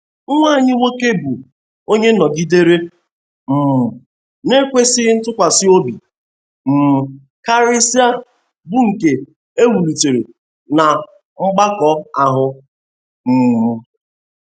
nwa anyị nwoke bụ́ onye nọgidere um na-ekwesị ntụkwasị obi um karịsịa bụ nke e wụliitere na mgbakọ ahụ. um